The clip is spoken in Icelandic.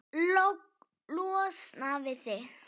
Losna við þig?